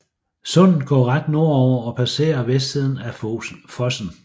Sundet går ret nordover og passerer vestsiden af Fosen